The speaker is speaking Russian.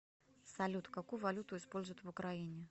салют какую валюту используют в украине